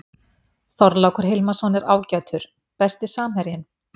Þorlákur Hilmarsson er ágætur Besti samherjinn?